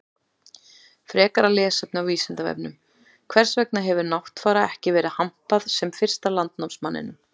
Frekara lesefni á Vísindavefnum: Hvers vegna hefur Náttfara ekki verið hampað sem fyrsta landnámsmanninum?